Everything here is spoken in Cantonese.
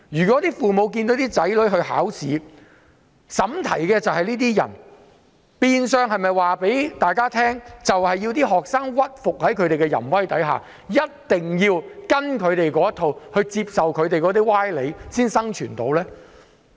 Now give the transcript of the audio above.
當父母看見為其子女的考試出題的是這種人，是否意味着學生要屈服於他們的淫威，依照他們的想法答題和接受他們的歪理才能生存呢？